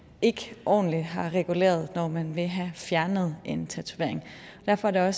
ikke ordentligt har reguleret når man vil have fjernet en tatovering derfor er